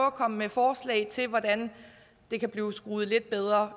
at komme med forslag til hvordan det kan blive skruet lidt bedre